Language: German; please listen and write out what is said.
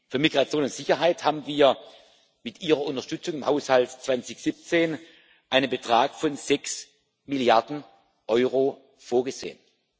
Für Migration und Sicherheit haben wir, mit Ihrer Unterstützung, im Haushalt 2017 einen Betrag von sechs Milliarden EUR vorgesehen.